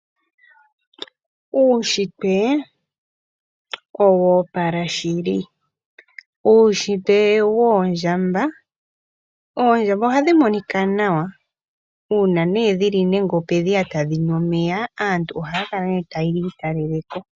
Uushitwe owo opala shili. Uushitwe woondjamba, oondjamba ohadhi monika nawa uuna ne dhili nenge ope dhiya tadhinu omeya , aantu haya kala nee tayi italeleko.